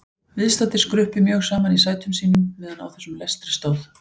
Viðstaddir skruppu mjög saman í sætum sínum meðan á þessum lestri stóð.